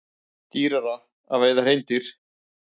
Dýrara að veiða hreindýr